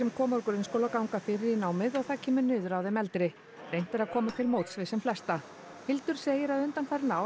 koma úr grunnskóla ganga fyrir í námið og það kemur niður á þeim eldri reynt er að koma til móts við sem flesta Hildur segir að undanfarin ár